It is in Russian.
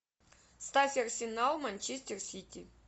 ставь арсенал манчестер сити